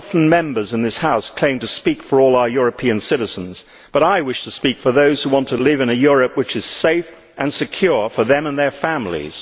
Members of this House often claim to speak for all European citizens, but I wish to speak for those who want to live in a Europe which is safe and secure for them and their families.